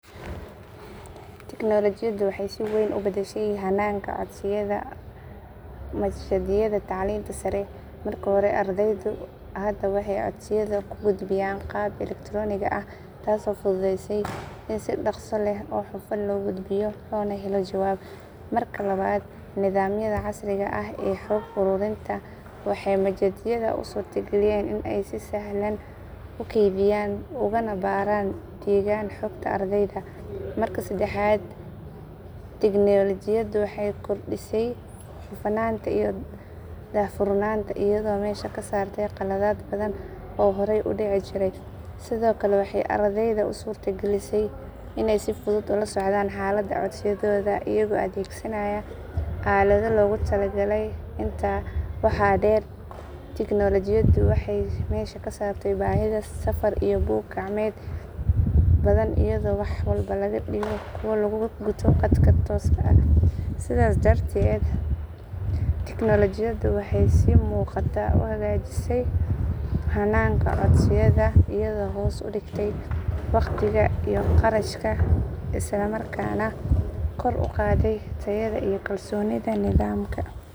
Tigniilajiyadu waxay si weyn u beddeshay hanaanka codsiyada machadyada tacliinta sare. Marka hore, ardaydu hadda waxay codsiyada ku gudbiyaan qaab elektaroonig ah taasoo fududeysay in si dhakhso leh oo hufan loo gudbiyo loona helo jawaab. Marka labaad, nidaamyada casriga ah ee xog ururinta waxay machadyada u suurta geliyeen inay si sahlan u kaydiyaan ugana baaraan degaan xogta ardayda. Marka saddexaad, tigniilajiyadu waxay kordhisay hufnaanta iyo daahfurnaanta iyadoo meesha ka saartay khaladaad badan oo horey u dhici jiray. Sidoo kale, waxay ardayda u suurta gelisay inay si fudud ula socdaan xaaladda codsiyadooda iyagoo adeegsanaya aalado loogu talagalay. Intaa waxaa dheer, tigniilajiyadu waxay meesha ka saartay baahida safar iyo buug gacmeedyo badan iyadoo wax walba laga dhigo kuwo lagu guto khadka tooska ah. Sidaas darteed, tigniilajiyadu waxay si muuqata u hagajisay hanaanka codsiyada iyadoo hoos u dhigtay wakhtiga iyo kharashka isla markaana kor u qaaday tayada iyo kalsoonida nidaamka.